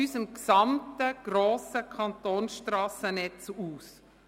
– unseres gesamten, grossen Kantonsstrassennetzes aus.